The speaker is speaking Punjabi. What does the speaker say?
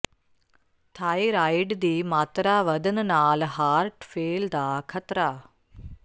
ਥਾਇਰਾਇਡ ਦੀ ਮਾਤਰਾ ਵਧਣ ਨਾਲ ਹਾਰਟ ਫੇਲ੍ਹ ਦਾ ਖ਼ਤਰਾ